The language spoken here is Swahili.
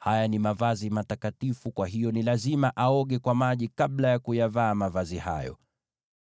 Haya ni mavazi matakatifu, kwa hiyo ni lazima aoge kwa maji kabla ya kuyavaa mavazi hayo.